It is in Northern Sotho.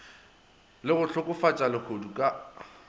le go hlokofatša lehodu ka